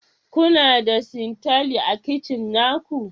Kuna da sintali a kicin na ku?